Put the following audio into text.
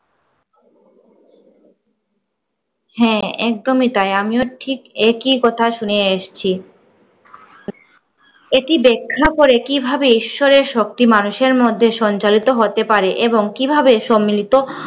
হ্যাঁ একদমি তাই। আমিও ঠিক একই কথা শুনে এসি। এটি ব্যাখ্যা করে কিভাবে ঈশ্বরের শক্তি মানুষের মধ্যে সঞ্চালিত হতে পারে এবং কিভাবে সম্মিলিত